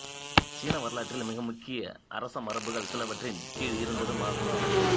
சீன வரலாற்றில் மிக முக்கிய அரசமரபுகள் சிலவற்றின் கீழ் இருந்ததும் ஆகும்